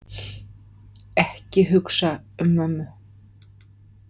Ekki hugsa um mömmu.